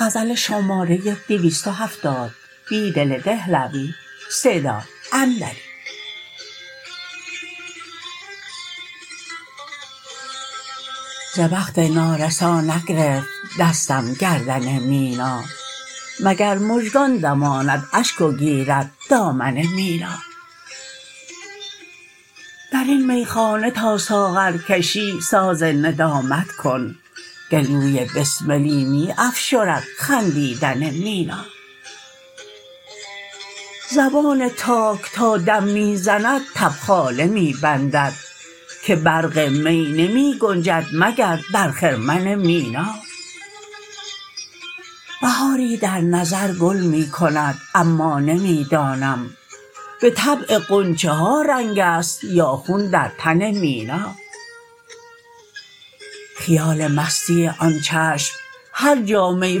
ز بخت نارسا نگرفت دستم گردن مینا مگر مژگان دماند اشک وگیرد دامن مینا درین میخانه تا ساغرکشی ساز ندامت کن گلوی بسملی می افشرد خندیدن مینا زبان تاک تا دم می زند تبخاله می بندد که برق می نمی گنجد مگردرخرمن مینا بهاری در نظرگل می کند ما نمی دانم به طبع غنچه ها رنگ ست یا خون درتن مینا خیال مستی آن چشم هرجا می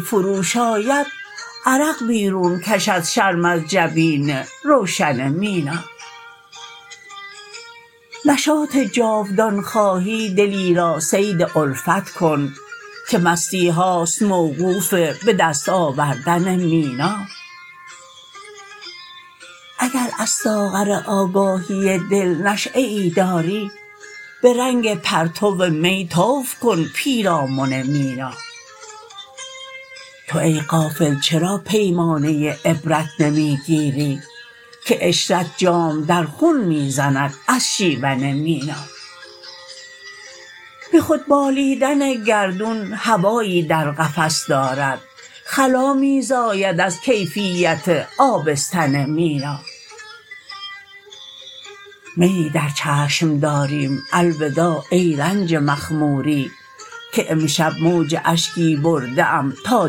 فروش آید عرق بیرون کشد شرم از جبین روشن مینا نشاط جاودان خواهی دلی راصید الفت کن که مستی هاست موقوف به دست آوردن مینا اگر از ساغر آگاهی دل نشیه ای داری به رنگ پرتومی طوف کن پیرامن مینا تو ای غافل چرا پیمانه عبرت نمی گیری که عشرت جام در خون می زند از شیون مینا به خود بالیدن گردون هوایی در قفس دارد خلا می زاید ازکیفیت آبستن مینا میی در چشم داریم الوداع ای رنج مخموری که امشب موج اشکی برده ام تا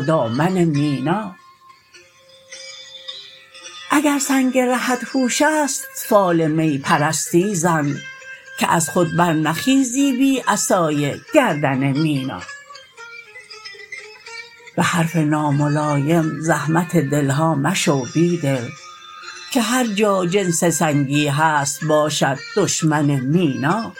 دامن مینا اگرسنگ رهت هوش است فال می پرستی زن که از خود برنخیزی بی عصای گردن مینا به حرف ناملایم زحمت دلها مشو بیدل که هرجا جنس سنگی هست باشد دشمن مینا